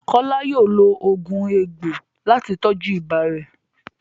Kola yóò lo oogun egbo lati tọju ibà rẹ.